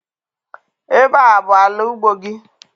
Ebe a abụ ala ugbo gị?